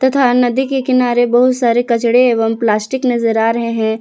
तथा नदी के किनारे बहुत सारे कचड़े एवं प्लास्टिक नजर आ रहे हैं।